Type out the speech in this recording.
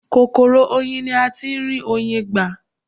Kòkòrò oyin ni a tí ń rí Oyin gbà.